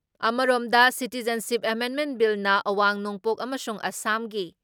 ꯑꯃꯔꯣꯝꯗ, ꯁꯤꯇꯤꯖꯟꯁꯤꯞ ꯑꯦꯃꯦꯟꯃꯦꯟ ꯕꯤꯜꯅ ꯑꯋꯥꯡ ꯅꯣꯡꯄꯣꯛ ꯑꯃꯁꯨꯡ ꯑꯁꯥꯝꯒꯤ